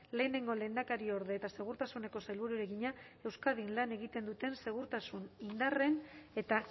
lehenengo lehendakariorde eta segurtasuneko sailburuari egina euskadin lan egiten duten segurtasun indarren eta